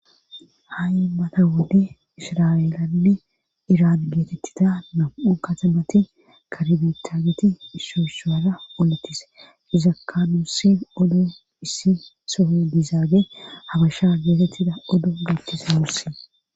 ha7i mata wuddi ishra7eelandi iran geetettita nam7u katamati karbetaageti isshooshuwara oletis izakanusi oddo issi soohe dizaage habasha geetettida odo geethtise mursi